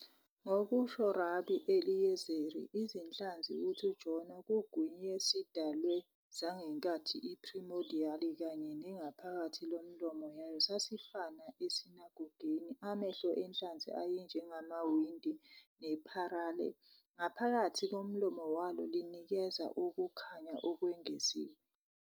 Ngokusho Rabi-Eliyezeri, izinhlanzi ukuthi uJona kugwinywe sidalwe zangenkathi primordial kanye nengaphakathi lomlomo yayo sasifana esinagogeni, Amehlo enhlanzi ayenjengamawindi neparele ngaphakathi komlomo walo linikeza ukukhanya okwengeziwe.